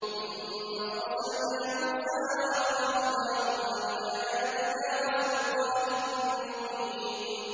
ثُمَّ أَرْسَلْنَا مُوسَىٰ وَأَخَاهُ هَارُونَ بِآيَاتِنَا وَسُلْطَانٍ مُّبِينٍ